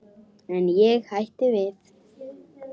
En ég hætti við.